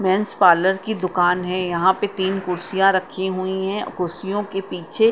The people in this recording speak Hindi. मेन्स पार्लर की दुकान है यहां पे तीन कुर्सियां रखी हुई हैं कुर्सियों के पीछे--